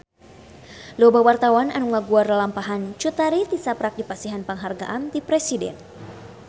Loba wartawan anu ngaguar lalampahan Cut Tari tisaprak dipasihan panghargaan ti Presiden